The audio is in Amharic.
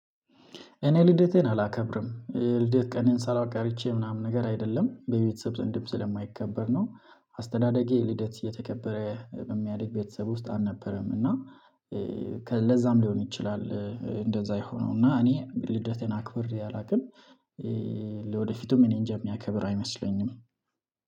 እኔ ልደቴን አላከብርም ልደት ቀኔን ሳላውቅ አርቼ ምናምን ነገር አይደለም በቤተሰብ ዘንድም ስለማይከበር ነው። አስተዳደጌ ልደት እየተከበረ በሚያድግ ቤተሰብ ውስጥ አልነበረም እና። ለዛም ሊሆን ይችላል እንደዛ የሆነው እና እኔ ልደቴን አክብር አላውቅም። ወደፊቱም እኔንጃ የሚያከብር አይመስለኝም።